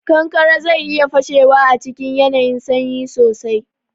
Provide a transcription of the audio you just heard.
Kankare zai iya fashewa a cikin yanayin sanyi sosai.